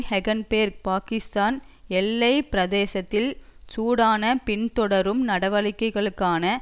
ஹெகன்பேர்க் பாகிஸ்தான் எல்லை பிரதேசத்தில் சூடான பின்தொடரும் நடவடிக்கைகளுக்கான